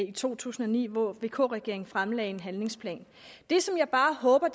i to tusind og ni hvor vk regeringen fremlagde en handlingsplan det som jeg bare håber